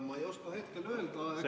Ma ei oska hetkel öelda, eks me vaatame.